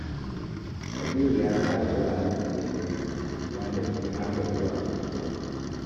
Kabiru ya tsara wuraren da zai je gobe, wanda ciki har da zuwa kasuwa